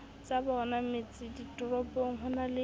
tsabona metseditoropong ho na le